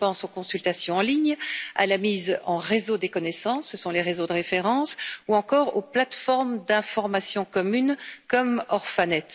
Je pense aux consultations en ligne, à la mise en réseau des connaissances, ce sont les réseaux de référence, ou encore aux plateformes d'informations communes, comme Orphanet.